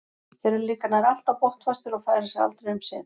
Þeir eru líka nær alltaf botnfastir og færa sig aldrei um set.